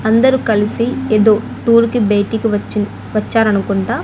అందరూ కలిసి ఏదో టూర్కి బయటికి వచ్చి వచ్చారు అనుకుంటా.